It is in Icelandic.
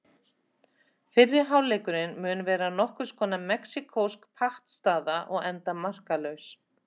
Fyrri hálfleikurinn mun vera nokkurs konar mexíkósk pattstaða og enda markalaus.